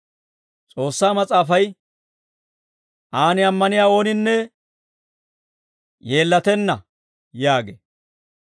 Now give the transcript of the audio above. S'oossaa Mas'aafay, «Aan ammaniyaa ooninne yeellatenna» yaagee.